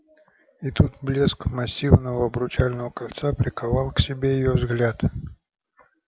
и тут блеск массивного обручального кольца приковал к себе её взгляд